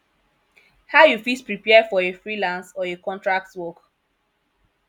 how you fit prepare for a freelance or a contract work